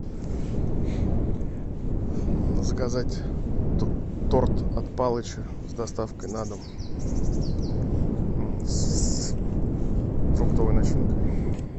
заказать торт от палыча с доставкой на дом с фруктовой начинкой